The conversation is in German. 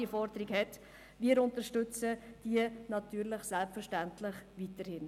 Wir unterstützen diese natürlich selbstverständlich weiterhin.